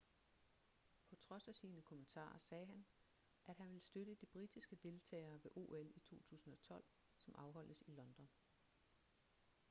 på trods af sine kommentarer sagde han at han vil støtte de britiske deltagere ved ol i 2012 som afholdes i london